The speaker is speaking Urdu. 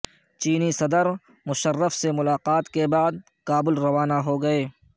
چینی صدر مشرف سے ملاقات کے بعد کابل روانہ ہو گئے